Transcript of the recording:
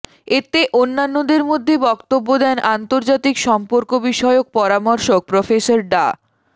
এতে অন্যান্যদের মধ্যে বক্তব্য দেন আন্তর্জাতিক সম্পর্ক বিষয়ক পরামর্শক প্রফেসর ড